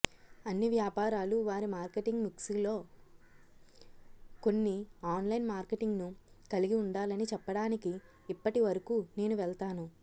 అన్ని వ్యాపారాలు వారి మార్కెటింగ్ మిక్స్లో కొన్ని ఆన్లైన్ మార్కెటింగ్ను కలిగి ఉండాలని చెప్పడానికి ఇప్పటి వరకు నేను వెళ్తాను